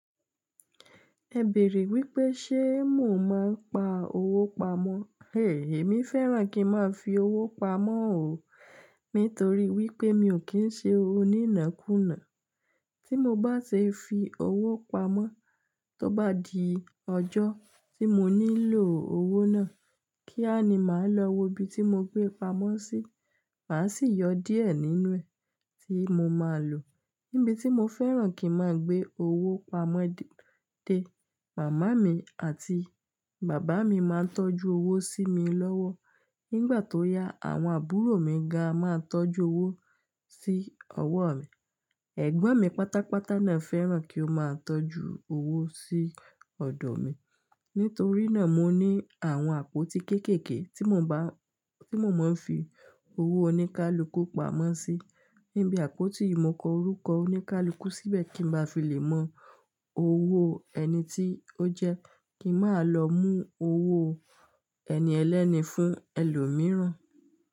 Ẹ bèèrè wípé ṣe mò ń máa ń pa owó pamọ́? Èmi fẹ́ràn kí ń máa fi owó pamọ́ òó, nítorí wípé mi ò kí ń ṣe oníná kùnà. Tí mo bá ṣe fi owó pamọ́, tó bá di ọjọ́ tí mo nílò owó náà, kí á ni màá lọ wo ibi tí mo gbé pamọ́ sí, màá sì yọ díẹ̀ nínú ẹ̀ tí mo máa lò. Níbi tí mo fẹ́ràn kí ń máa gbé owó pamọ́ dé, màmá mi àti bàbá mi máa ń tọ́jú owó sí mi lọ́wọ́. Nígbà tó yá, àwọn àbúrò mi ga máa ń tọ́jú owó sí ọwọ́ mi. Ẹ̀gbọ́n mi pátápátá náà fẹ́ràn kí ó máa ń tọ́jú owó sí ọ̀dọ̀ mi. Nítorí náà, mo ní àwọn àpótí kéékèèké tí mò ń bá, tí mò ń máa ń fi owó oníkálukú pamọ́ sí. Níbi àpótí yìí, mo kọ orúkọ oníkálukú síbẹ̀ kí ń bá fi lè mọ owó ẹni tí ó jẹ́ kí máa lọ mú owó ẹni ẹlẹ́ni fún ẹlòmíràn.